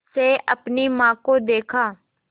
से अपनी माँ को देखा